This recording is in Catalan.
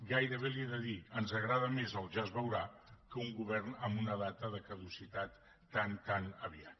gairebé li ho he de dir ens agrada més el ja és veurà que un govern amb una data de caducitat tan tan aviat